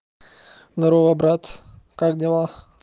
здорово брат как дела